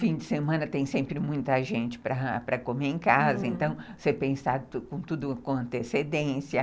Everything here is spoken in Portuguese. Fim de semana tem sempre muita gente para comer em casa, então você pensar tudo com antecedência.